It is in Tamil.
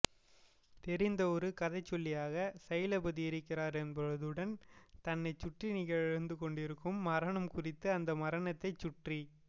தெரிந்த ஒரு கதைசொல்லியாக சைலபதி இருக்கிறார் என்பதுடன் தன்னைச் சுற்றி நிகழ்ந்து கொண்டிருக்கும் மரணம் குறித்தும் அந்த மரணத்தைச் சுற்றி